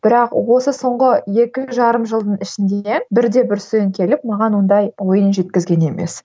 бірақ осы соңғы екі жарым жылдың ішінде бір де бір студент келіп маған ондай ойын жеткізген емес